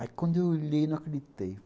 Aí, quando eu olhei, não acreditei.